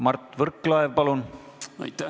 Mart Võrklaev, palun!